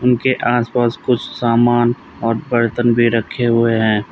उनके आस पास कुछ सामान और बर्तन भी रखे हुए हैं।